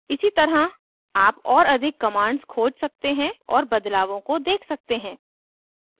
इसी तरह आप और अधिक commands खोज सकते हैं और बदलावों को देख सकते हैं